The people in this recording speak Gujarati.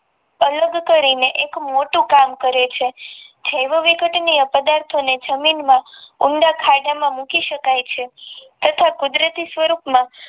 અલગ કરી ને એક મોટું કામ કરે છે જેવવિઘટીય પદાથો ને ઊંડા ખાડા માં મૂકી શકાય છે તથા કુદરતી સ્વરૂપ માં